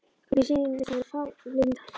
Mér sýnist hann vera fallinn í trans.